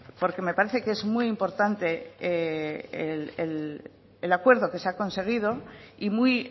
porque me parece que es muy importante el acuerdo que se ha conseguido y muy